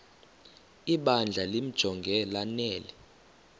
ibandla limjonge lanele